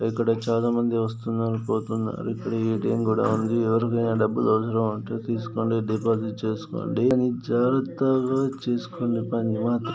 ఇక్కడ చాలా మంది వస్తున్నారు పోతున్నారు. ఇక్కడ ఏ టి యం కూడా ఉంది. ఎవరికైన డబ్బులు అవసరమైతే తీసుకొండి. డిపాజిట్ చేసుకోండి. కానీ జాగ్రత్తగా చేసుకోండి పని మాత్రం.